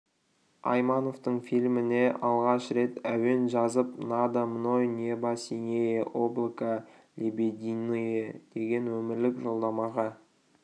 аймановтың фильміне алғаш рет әуен жазып надо мной небо синее облака лебединые деген өмірлік жолдамаға